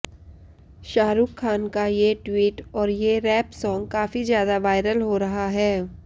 शाहरुख खान का ये ट्वीट और ये रैप सॉंग काफी ज्यादा वायरल हो रहा है